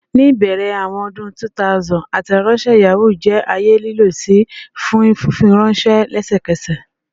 Ni ibẹrẹ awọn ọdun 2000, Ateronshe Yahoo jẹ aaye lilọ-si fun fifiranṣẹ lẹsẹkẹsẹ.